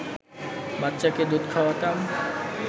বাচ্চাকে দুধ খাওয়াতাম